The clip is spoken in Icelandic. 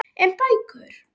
En bækur?